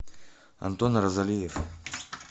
антон розалиев